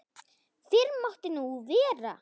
Fyrr mátti nú vera!